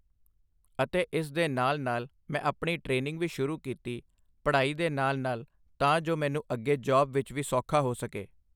ਅਤੇ ਇਸ ਦੇ ਨਾਲ਼ ਨਾਲ਼ ਮੈਂ ਆਪਣੀ ਟਰੇਨਿੰਗ ਵੀ ਸ਼ੁਰੂ ਕੀਤੀ ਪੜ੍ਹਾਈ ਦੇ ਨਾਲ਼ ਨਾਲ਼ ਤਾਂ ਜੋ ਮੈਨੂੰ ਅੱਗੇ ਜੌਬ ਦੇ ਵਿੱਚ ਸੌਖਾ ਹੋ ਸਕੇ